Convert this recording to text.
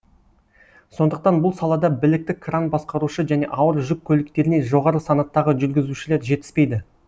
сондықтан бұл салада білікті кран басқарушы және ауыр жүк көліктеріне жоғары санаттағы жүргізушілер жетіспейді